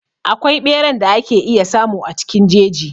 Akwai ɓeran da ake iya samu cikin jeji.